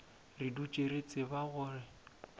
re dutše re tseba gore